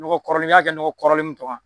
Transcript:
nɔgɔ kɔrɔlen i y'a kɛ nɔgɔ kɔrɔlen mun tɔ kan.